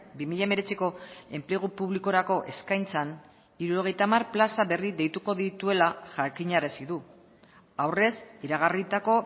bi mila hemeretziko enplegu publikorako eskaintzan hirurogeita hamar plaza berri deituko dituela jakinarazi du aurrez iragarritako